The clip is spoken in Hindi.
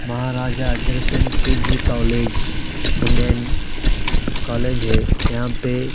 महाराजा Agrasen PG college women college है यहां पे--